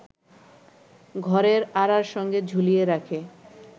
ঘরের আঁড়ার সঙ্গে ঝুলিয়ে রাখে